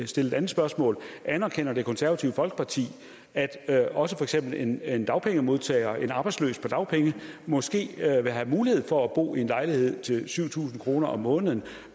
stille et andet spørgsmål anerkender det konservative folkeparti at også for eksempel en en dagpengemodtager en arbejdsløs på dagpenge måske vil have mulighed for at bo i en lejlighed til syv tusind kroner om måneden